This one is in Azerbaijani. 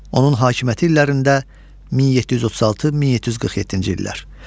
Onun hakimiyyəti illərində 1736-1747-ci illər.